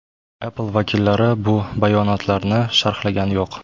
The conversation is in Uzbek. Apple vakillari bu bayonotlarni sharhlagani yo‘q.